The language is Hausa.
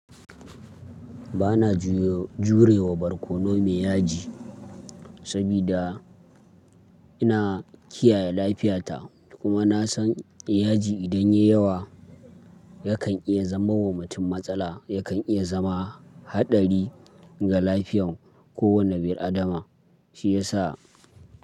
Ba na jure wa barkono mai yaji sabida ina kiyaye lafiyata kuma na san yaji idan yayi yawa yakan iya zama mummunin matsala, yakan iya zama haɗari ga lafiyan kowane bir adama. Shi yasa.